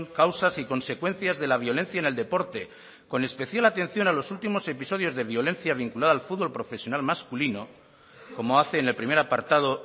causas y consecuencias de la violencia en el deporte con especial atención a los últimos episodios de violencia vinculada al fútbol profesional masculino como hace en el primer apartado